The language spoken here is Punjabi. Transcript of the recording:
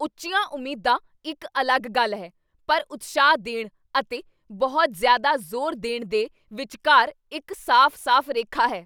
ਉੱਚੀਆਂ ਉਮੀਦਾਂ ਇੱਕ ਅਲੱਗ ਗੱਲ ਹੈ, ਪਰ ਉਤਸ਼ਾਹ ਦੇਣ ਅਤੇ ਬਹੁਤ ਜ਼ਿਆਦਾ ਜ਼ੋਰ ਦੇਣ ਦੇ ਵਿਚਕਾਰ ਇੱਕ ਸਾਫ਼ ਸਾਫ਼ ਰੇਖਾ ਹੈ